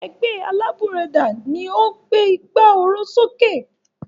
Ẹgbẹ́ alábùradà ni ó gbé ìgbà oró sókè.